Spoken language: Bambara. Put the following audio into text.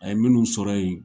A ye minnu sɔrɔ ye